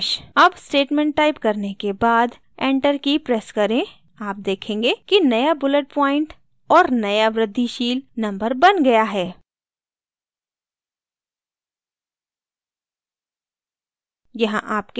अब statement type करने के बाद enter की press करें आप देखेंगे कि now bullet प्वॉइंट और now वृद्धिशील number now गया है